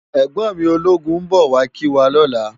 Ègbòn mi ólógún n bò wá kiwá lòlá